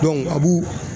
a b'u